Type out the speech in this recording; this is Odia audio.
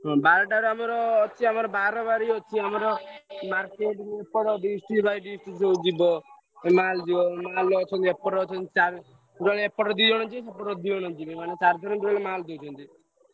ହଁ ବାରଟା ରେ ଅଛି ଆମର ବାରବାରି ଅଛି ଆମର market ରୁ ସବୁ ଯିବ। mall ଯିବ mall ରେ ଅଛନ୍ତି ଏପଟରେ ଅଛନ୍ତି ଏପଟୁ ଦୁଇ ଜଣ ସେପଟୁ ଦୁଇ ଜଣ ଯିବେ ମାନେ ଚାରି ଜଣ mall ଦଉଛନ୍ତି।